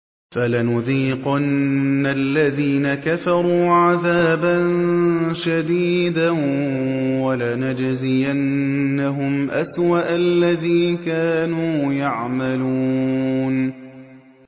فَلَنُذِيقَنَّ الَّذِينَ كَفَرُوا عَذَابًا شَدِيدًا وَلَنَجْزِيَنَّهُمْ أَسْوَأَ الَّذِي كَانُوا يَعْمَلُونَ